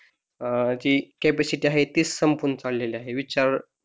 अह जी कॅपॅसिटी आहे ती संपून चाललेली आहे विचार